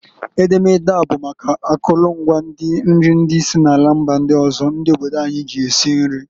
Edemede a bụ maka akụlụ ngwa nri ndi si na mba ọzọ ma na ndị obodo anyị ji ya esi nri.